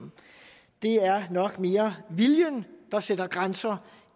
det er nok mere viljen der sætter grænser